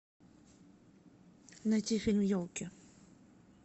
найти фильм елки